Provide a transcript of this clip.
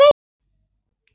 Hver veit!